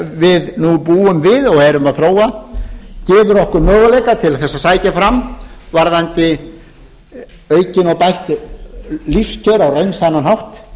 við nú búum við og erum að þróa sem gefur okkur möguleika til þess að sækja fram varðandi aukin og bætt lífskjör á raunsannan hátt